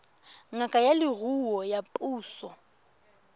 ngaka ya leruo ya puso